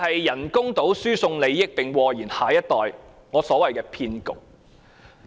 人工島輸送利益或禍延下一代，我因此稱之為騙局。